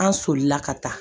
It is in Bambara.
An solila ka taa